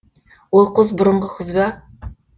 ол қыз бұрынғы қыз ба